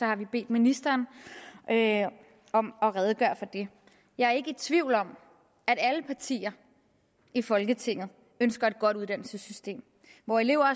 har vi bedt ministeren om at redegøre for det jeg er ikke tvivl om at alle partier i folketinget ønsker et godt uddannelsessystem hvor elever